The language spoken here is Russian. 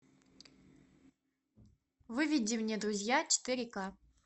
выведи мне друзья четыре ка